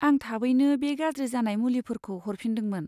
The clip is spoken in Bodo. आं थाबैनो बे गाज्रि जानाय मुलिफोरखौ हरफिनदोंमोन।